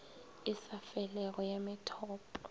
e sa felego ya methopo